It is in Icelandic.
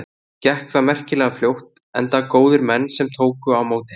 Gekk það merkilega fljótt enda góðir menn sem tóku á móti henni.